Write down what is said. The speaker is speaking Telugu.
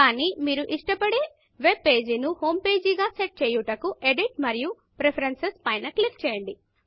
కానీ మీరు ఇష్టపడే వెబ్ పేజ్ ను Homepageహోం పేజి గా సెట్ చేయుటకు Editఎడిట్ మరియు Preferencesప్రిఫరేన్సుస్ పైన క్లిక్ చేయండి